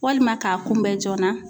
Walima k'a kunbɛ joona